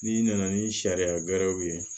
N'i nana ni sariya berew ye